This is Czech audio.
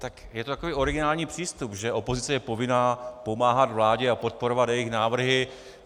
Tak je to takový originální přístup, že opozice je povinná pomáhat vládě a podporovat jejich návrhy.